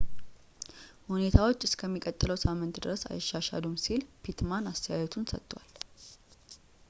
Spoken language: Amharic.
ሁኔታዎች እስከሚቀጥለው ሳምንት ድረስ አይሻሻሉም ሲል pittman አስተያየቱን ሰጥቷል